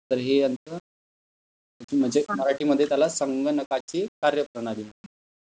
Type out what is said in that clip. तर हे यांच म्हणजे मराठी मध्ये त्याला संगणकाची कार्यप्रणाली म्हणते.